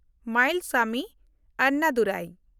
Mayilsamy Annadurai